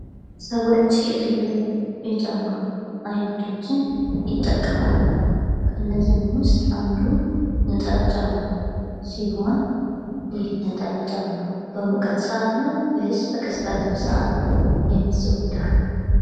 ሰዎች የተለያዩ የጫማ አይነቶችን ይጠቀማሉ። ከነዚህም ውስጥ አንዱ ነጠላ ጫማ ሲሆን ይህ ነጠላ ጫማ በሙቀት ሰአት ነው ወይስ በቀዝቃዛ ሰዓት የሚዘወትረው?